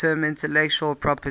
term intellectual property